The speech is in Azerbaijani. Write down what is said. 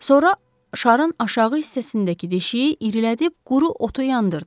Sonra şarın aşağı hissəsindəki deşiyi irilədib quru otu yandırdı.